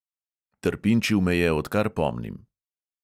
Trpinčil me je, odkar pomnim.